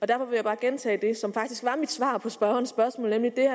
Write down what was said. derfor vil jeg bare gentage det som faktisk var mit svar på spørgerens spørgsmål nemlig